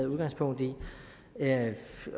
og otte